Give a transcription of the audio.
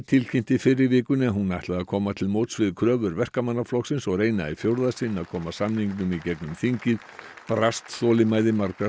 tilkynnti fyrr í vikunni að hún ætlaði að koma til móts við kröfur Verkamannaflokksins og reyna í fjórða sinn að koma samningnum í gegnum þingið brast þolinmæði margra